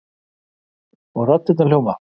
Og raddirnar hljóma